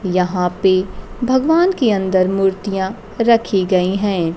यहां पे भगवान के अंदर मूर्तियां रखी गई हैं।